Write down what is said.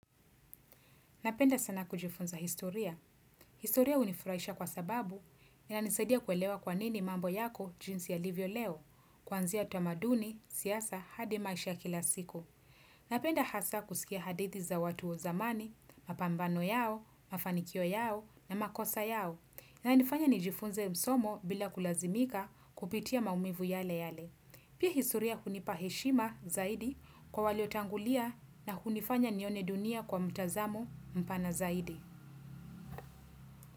Napenda sana kujifunza historia. Historia hunifurahisha kwa sababu inanisadia kuelewa kwanini mambo yako jinsi yalivyo leo, kwanzia tamaduni, siasa, hadi maisha ya kila siku. Napenda hasa kusikia hadithi za watu wa zamani, mapambano yao, mafanikio yao, na makosa yao. Inanifanya nijifunze somo bila kulazimika kupitia maumivu yale yale. Pia historia hunipa heshima zaidi kwa waliotangulia na hunifanya nione dunia kwa mtazamo mpana zaidi.